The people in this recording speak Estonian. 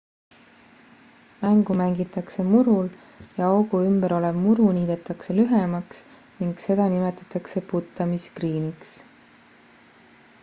mängu mängitakse murul ja augu ümber olev muru niidetakse lühemaks ning seda nimetatakse puttamisgriiniks